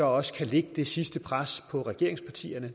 også kan lægge det sidste pres på regeringspartierne